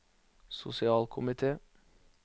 sosialkomite